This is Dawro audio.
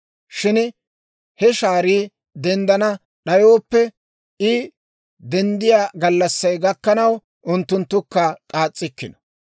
Shin he shaarii denddana d'ayooppe, I denddiyaa gallassay gakkanaw unttunttukka k'aas's'ikkino.